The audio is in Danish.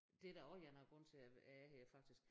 Det er da også en af æ grunde til jeg er her faktisk